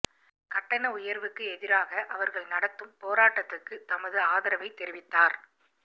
கட்டண உயர்வுக்கு எதிராக அவர்கள் நடத்தும் போராட்டத்துக்கு தமது ஆதரவை தெரிவித்தார்